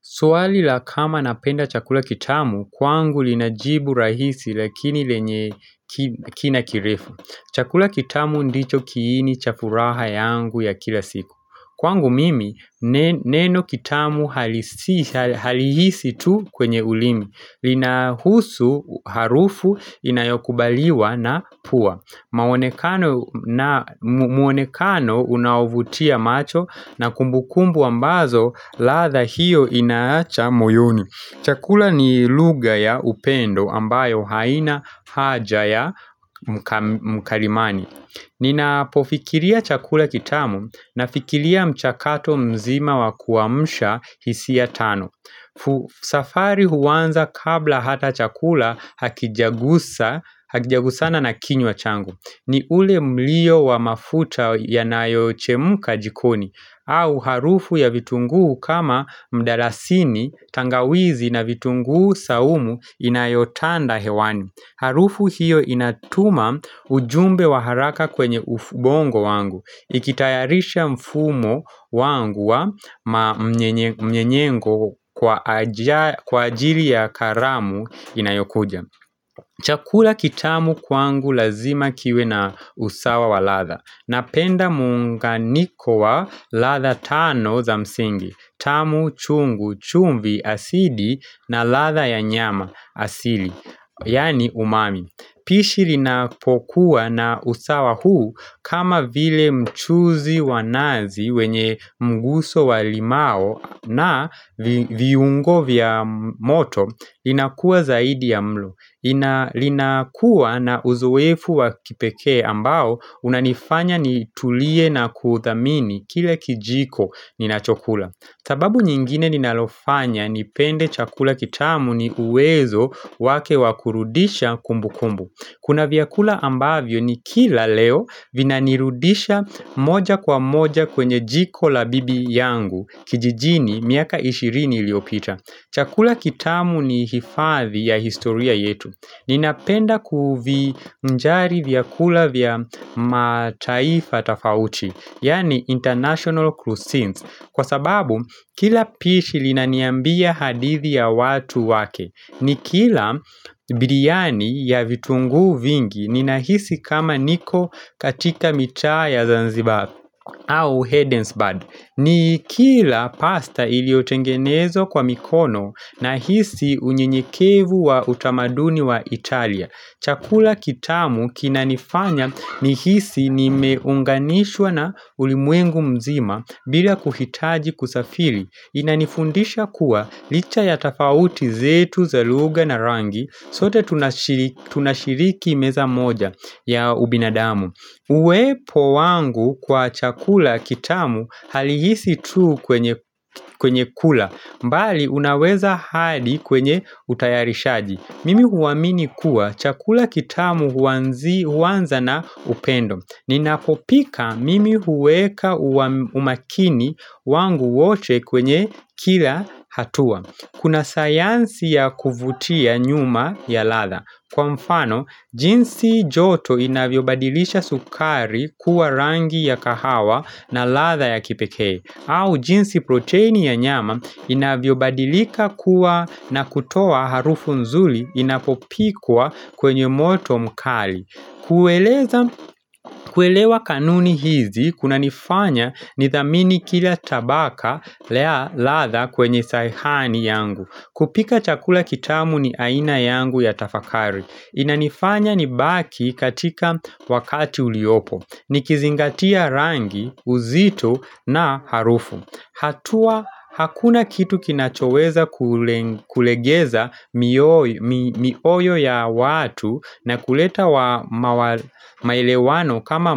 Swali la kama napenda chakula kitamu, kwangu linajibu rahisi lakini lenye kina kirefu. Chakula kitamu ndicho kiini chafuraha yangu ya kila siku. Kwangu mimi, neno kitamu halihisi tu kwenye ulimi. Lina husu harufu inayokubaliwa na pua maonekano mwonekano unaovutia macho na kumbukumbu ambazo ladha hiyo inaacha moyoni Chakula ni lugha ya upendo ambayo haina haja ya mkalimani Ninapofikiria chakula kitamu na fikiria mchakato mzima wakuamsha hisia tano safari huanza kabla hata chakula hakijagusana na kinywa changu ni ule mlio wa mafuta yanayo chemuka jikoni au harufu ya vitunguu kama mdalasini tangawizi na vitunguu saumu inayotanda hewani Harufu hiyo inatuma ujumbe wa haraka kwenye ubongo wangu Ikitayarisha mfumo wangu wa mnyenyengo kwa kwa ajili ya karamu inayokuja Chakula kitamu kwangu lazima kiwe na usawa wa ladha Napenda muunganiko wa ladha tano za msingi tamu chungu chumbi asidi na ladha ya nyama asili Yaani umami Pishi linapokuwa na usawa huu kama vile mchuzi wa nazi wenye mguso walimau na viungo vya moto linakuwa zaidi ya mlo. Linakuwa na uzoefu wakipekee ambao unanifanya nitulie na kuthamini kile kijiko ninacho kula. Sababu nyingine ninalofanya nipende chakula kitamu ni uwezo wake wakurudisha kumbu kumbu Kuna vyakula ambavyo ni kila leo vina nirudisha moja kwa moja kwenye jiko la bibi yangu kijijini miaka ishirini iliopita Chakula kitamu ni hifadhi ya historia yetu Ninapenda kuvinjari vyakula vya mataifa tofauti Yaani International Cuisines Kwa sababu kila pishi linaniambia hadithi ya watu wake Nikila biriani ya vitunguu vingi ninahisi kama niko katika mitaa ya Zanzibar au Hedden's Bird ni kila pasta iliotengenezwa kwa mikono nahisi unyenyekevu wa utamaduni wa Italia Chakula kitamu kinanifanya nihisi nimeunganishwa na ulimwengu mzima bila kuhitaji kusafiri. Inanifundisha kuwa licha ya tofauti zetu za lugha na rangi, sote tunashiriki meza moja ya ubinadamu. Uwepo wangu kwa chakula kitamu halihisi tu kwenye kwenye kula, mbali unaweza hadi kwenye utayarishaji. Mimi huamini kuwa chakula kitamu huanzi huanza na upendo Ninapopika mimi huweka umakini wangu wote kwenye kila hatua Kuna sayansi ya kuvutia nyuma ya ladha Kwa mfano, jinsi joto inavyobadilisha sukari kuwa rangi ya kahawa na ladha ya kipekee au jinsi proteini ya nyama inavyo badilika kuwa na kutoa harufu nzuri inapopikwa kwenye moto mkali. Kuelewa kanuni hizi, kuna nifanya nithamini kila tabaka ladha kwenye sahani yangu. Kupika chakula kitamu ni aina yangu ya tafakari. Inanifanya nibaki katika wakati uliopo. Nikizingatia rangi, uzito na harufu hatua Hakuna kitu kinachoweza kulegeza mioyo ya watu na kuleta maelewano kama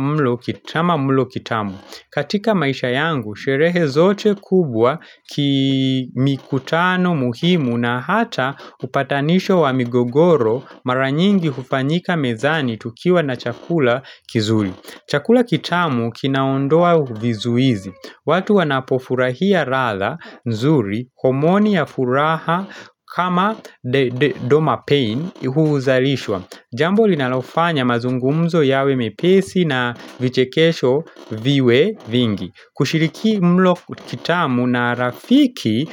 mlo kitamu. Katika maisha yangu, sherehe zote kubwa ki mikutano muhimu na hata upatanisho wa migogoro mara nyingi hufanyika mezani tukiwa na chakula kizuri. Chakula kitamu kinaondoa vizuizi. Watu wanapofurahia ladha nzuri, komoni ya furaha kama domapain huzalishwa. Jambo linalofanya mazungumzo yawe mepesi na vichekesho viwe vingi kushiriki mlo kitamu na rafiki.